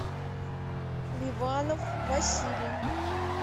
ливанов василий